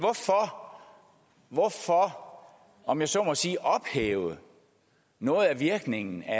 hvorfor om jeg så må sige ophæve noget af virkningen af